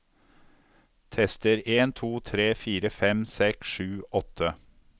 Tester en to tre fire fem seks sju åtte